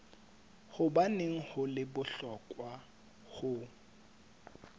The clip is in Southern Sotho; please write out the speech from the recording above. hobaneng ho le bohlokwa ho